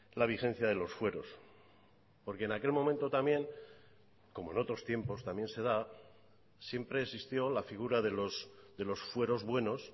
la vigencia de los fueros porque en aquel momento también como en otros tiempos también se da siempre existió la figura de los fueros buenos